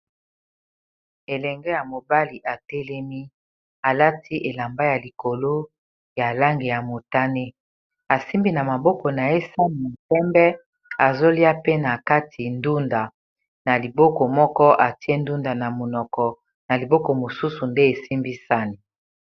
Elenge ya mobali atelemi alati elamba ya likolo ya lange ya motane, asimbi na maboko na ye san mopembe azolia pe na kati ndunda na liboko moko atie ndunda na monoko na liboko mosusu nde esimbisani.